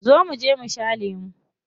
Zo muje mu sha lemu.